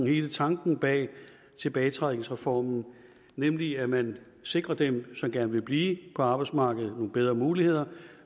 hele tanken bag tilbagetrækningsreformen nemlig at man sikrer dem som gerne vil blive på arbejdsmarkedet nogle bedre muligheder